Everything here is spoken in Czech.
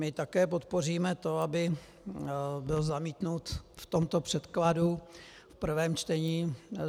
My také podpoříme to, aby byl zamítnut v tomto předkladu v prvém čtení.